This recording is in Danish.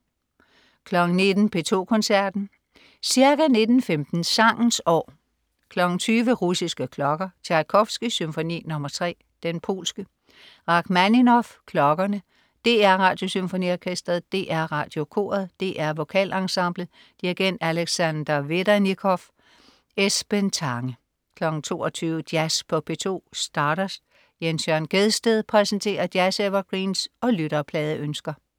19.00 P2 Koncerten. Ca. 19.15 Sangens År. 20.00 Russiske klokker. Tjajkovskij: Symfoni nr. 3, Den polske. Rakhmaninov: Klokkerne. DR Radiosymfoniorkestret. DR Radiokoret. DR Vokalensemblet. Dirigent: Alexander Vedernikov. Esben Tange 22.00 Jazz på P2. Stardust. Jens Jørn Gjedsted præsenterer jazz-evergreens og lytterpladeønsker